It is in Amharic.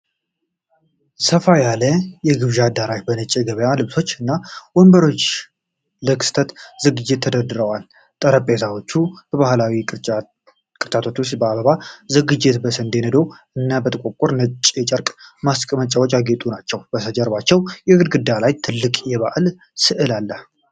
ሰፋ ያለ የግብዣ አዳራሽ በነጭ የገበታ ልብሶች እና ወንበሮች ለክስተት ዝግጅት ተደርጎለታል። ጠረጴዛዎቹ በባህላዊ ቅርጫቶች ውስጥ በአበባ ዝግጅት፣ በስንዴ ነዶ እና በጥቁርና ነጭ የጨርቅ ማስቀመጫዎች ያጌጡ ናቸው። ከበስተጀርባ በግድግዳው ላይ ትልቅ የባህል ስዕል አለ።